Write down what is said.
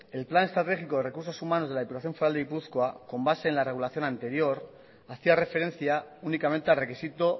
el plan estratégico de recursos humanos de la diputación foral de gipuzkoa con base en la regulación anterior hacía referencia únicamente al requisito